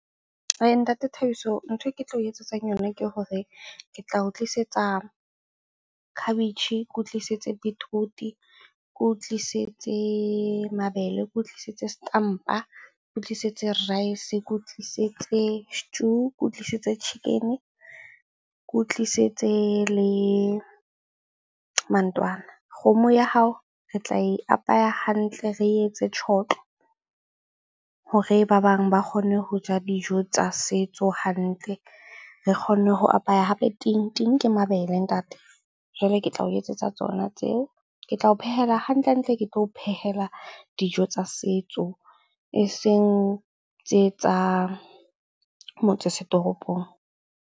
Ntate Thabiso nthwe ke tla o etsetsang yona ke hore ke tla o tlisetsa khabetjhe, ke o tlisetse beetroot-e, ke o tlisetse mabele, ke o tlisitse setampa, ke o tlisetse rice, ke o tlisetse stew, ke o tlisetse chicken-e, ke o tlisetse le mantwana. Kgomo ya hao re tla e apeya hantle, re etse tjhotlo hore ba bang ba kgonne ho ja dijo tsa setso hantle. Re kgonne ho apaya hape ting, ting ke mabele ntate. Jwale ke tla o etsetsa tsona tseo, ke tla o phehela. Hantlentle ke tlo o phehela dijo tsa setso eseng tse tsa motse setoropong.